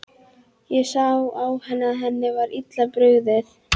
Ég sá á henni að henni var illa brugðið.